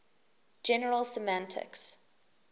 general semantics